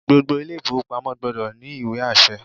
Gbogbo ilé ìfowópamọ́ gbọdọ̀ ní ìwé àṣẹ